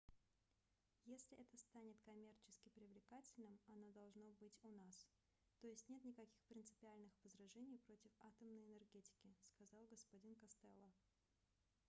если это станет коммерчески привлекательным оно должно быть у нас то есть нет никаких принципиальных возражений против атомной энергетики - сказал г-н костелло